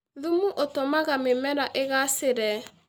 Thumu ũtũmaga mĩmera ĩgacĩre